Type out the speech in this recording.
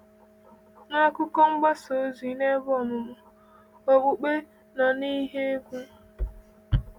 N’akụkọ mgbasa ozi na ebe ọmụmụ, okpukpe nọ n’ihe egwu.